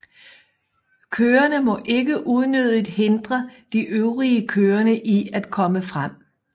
Kørende må ikke unødigt hindre de øvrige kørende i at komme frem